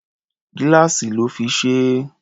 Gíláàsì lọ́ fi ṣe é.